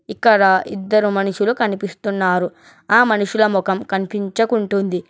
ఇక్కడ ఇద్దరు మనుషులు కనిపిస్తున్నారు ఆ మనుషుల ముఖం కనిపించకుంటుంది.